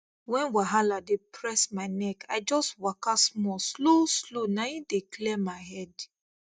when wahala dey press my neck i just waka small slow slow na im dey clear my head